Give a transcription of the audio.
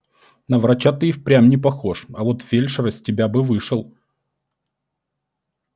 на врача ты и впрямь не похож а вот фельдшер из тебя бы вышел